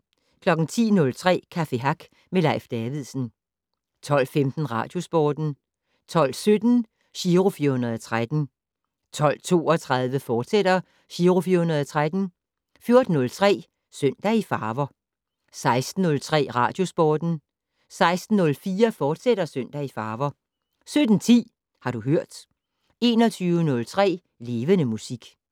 10:03: Café Hack med Leif Davidsen 12:15: Radiosporten 12:17: Giro 413 12:32: Giro 413, fortsat 14:03: Søndag i farver 16:03: Radiosporten 16:04: Søndag i farver, fortsat 17:10: Har du hørt 21:03: Levende Musik